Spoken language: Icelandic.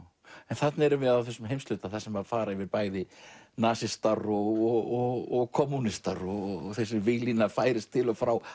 þarna erum við á þessum heimshluta þar sem fara yfir bæði nasistar og kommúnistar og þessi víglína færist til og frá